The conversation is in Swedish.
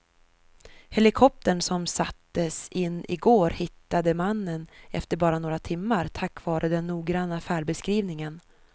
Helikoptern som sattes in i går hittade mannen efter bara några timmar tack vare den noggranna färdbeskrivningen.